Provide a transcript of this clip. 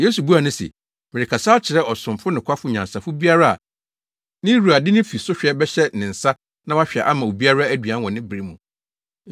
Yesu buaa no se, “Merekasa akyerɛ ɔsomfo nokwafo nyansafo biara a ne wura de ne fi sohwɛ bɛhyɛ ne nsa na wahwɛ ama obiara aduan wɔ ne bere mu.